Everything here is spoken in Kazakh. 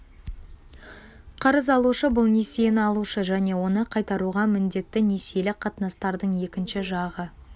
қарыз алушы бұл несиені алушы және оны қайтаруға міндетті несиелік қатынастардың екінші жағы